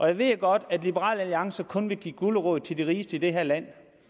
jeg ved jo godt at liberal alliance kun vil give guleroden til de rigeste i det her land